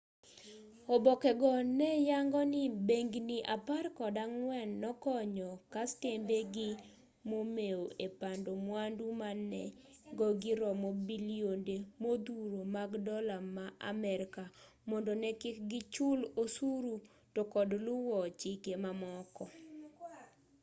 oboke go ne yango ni bengni apar kod ang'wen nokonyo kastembe gi momeu e pando mwandu ma nengogi romo bilionde modhuro mag dola ma amerka mondo ne kik gichul osuru to kod luwo chike mamoko